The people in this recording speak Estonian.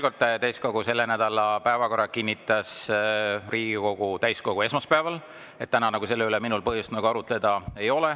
Kordan veel kord: täiskogu selle nädala päevakorra kinnitas Riigikogu täiskogu esmaspäeval, täna minul selle üle arutleda põhjust ei ole.